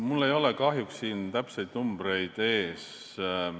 Mul ei ole kahjuks täpseid numbreid siin ees.